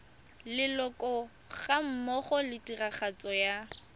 leloko gammogo le tiragatso ya